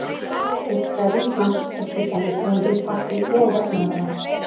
Úr trefjum hamps er til dæmis búinn til pappír og vefnaðarvara.